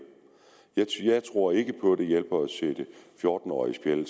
jeg tror ikke på at det hjælper at sætte fjorten årige i